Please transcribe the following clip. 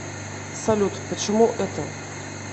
салют почему это